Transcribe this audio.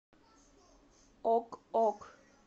ок ок